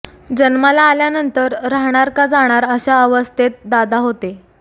जन्माला आल्यानंतर राहणार का जाणार अशा अवस्थेत दादा होते